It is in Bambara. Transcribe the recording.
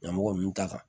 Ɲɛmɔgɔ ninnu ta kan